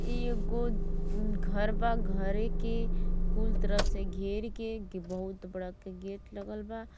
ई एगो दं घर बा। घरे के कुल तरफ से घेर के एके बहुत बड़का गेट लगल बा।